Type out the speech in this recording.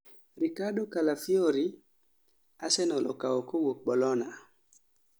Riccardo Calafiori:Arsenal okao kawuok Bologna